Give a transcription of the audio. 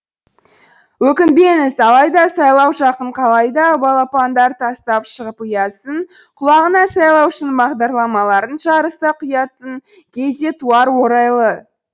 өкінбеңіз алайда сайлау жақын қалайда балапандар тастап шығып ұясын құлағына сайлаушының бағдарламаларын жарыса құятын кез де туар орайлы